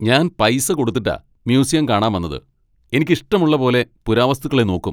ഞാൻ പൈസ കൊടുത്തിട്ടാ മ്യൂസിയം കാണാൻ വന്നത് , എനിക്ക് ഇഷ്ടമുള്ള പോലെ പുരാവസ്തുക്കളെ നോക്കും!